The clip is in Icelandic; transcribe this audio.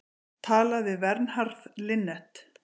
Talað við Vernharð Linnet.